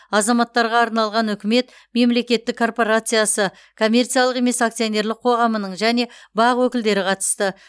азаматтарға арналған үкімет мемлекеттік корпорациясы коммерциялық емес акционерлік қоғамының және бақ өкілдері қатысты